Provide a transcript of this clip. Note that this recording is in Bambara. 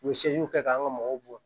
U ye kɛ k'an ka mɔgɔw bɔ